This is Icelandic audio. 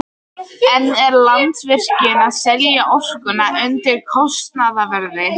En er Landsvirkjun að selja orkuna undir kostnaðarverði?